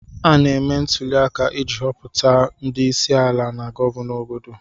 Ana eme ntụliaka iji họpụta ndị isiala na gọvanọ obodo.